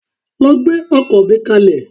Lọ gbẹ́ ọkọ́ mi kalẹ̀.